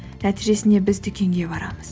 нәтижесінде біз дүкенге барамыз